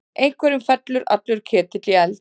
Einhverjum fellur allur ketill í eld